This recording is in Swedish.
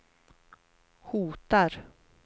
hotar